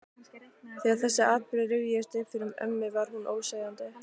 Þegar þessir atburðir rifjuðust upp fyrir ömmu var hún óseðjandi.